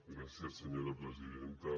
gràcies senyora presidenta